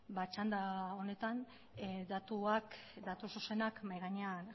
ba txanda honetan datuak datu zuzenak mahai gainean